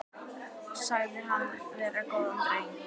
Sagðir hann vera góðan dreng.